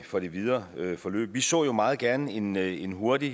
for det videre forløb vi så jo meget gerne en en hurtig